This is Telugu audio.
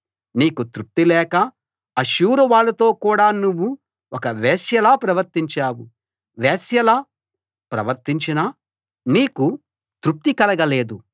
నీకు తృప్తి లేక అష్షూరువాళ్ళతో కూడా నువ్వు ఒక వేశ్యలా ప్రవర్తించావు వేశ్యలా ప్రవర్తించినా నీకు తృప్తి కలగలేదు